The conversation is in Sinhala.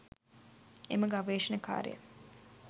එම ගවේෂණ කාර්යය